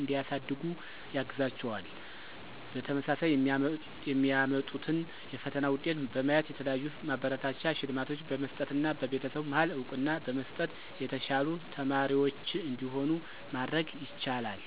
እንዲያሳድጉ ያግዛቸዋል። በተመሳሳይ የሚያመጡትን የፈተና ውጤት በማየት የተለያዩ ማበረታቻ ሽልማቶችን በመስጠትና በቤተሰቡ መሀል እውቅና በመስጠት የተሻሉ ተማሪዎች እንዲሆኑ ማድረግ ይቻላል።